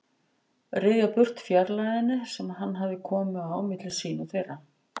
Ryðja burt fjarlægðinni sem hann hafði komið á milli sín og þeirra.